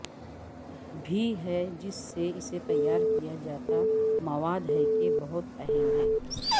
بھی ہے جس سے اسے تیار کیا جاتا مواد ہے کہ بہت اہم ہے